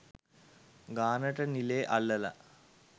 ගානට නිලේ අල්ලලා